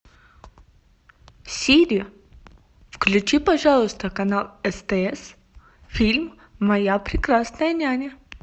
сири включи пожалуйста канал стс фильм моя прекрасная няня